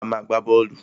A má a gbá bọ́ọ́lù.